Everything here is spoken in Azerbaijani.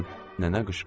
Nənə qışqırdı.